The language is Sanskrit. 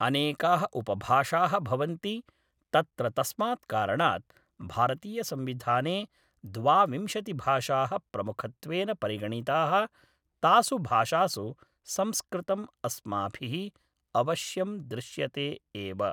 अनेकाः उपभाषाः भवन्ति तत्र तस्मात् कारणात् भारतीयसंविधाने द्वाविंशतिभाषाः प्रमुखत्वेन परिगणिताः तासु भाषासु संस्कृतम् अस्माभिः अवश्यं दृश्यते एव